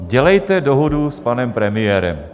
Dělejte dohodu s panem premiérem.